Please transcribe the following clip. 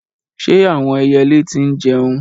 Ṣé àwọn ẹyẹlé tí ń jẹun?